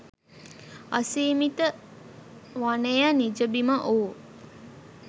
අසීමිත වනය නිජබිම වූ